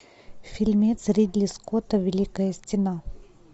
фильмец ридли скотта великая стена